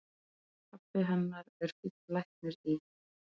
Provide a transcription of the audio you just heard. Pabbi hennar er fínn læknir í